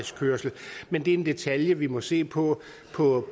men det er en detalje vi må se på på